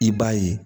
I b'a ye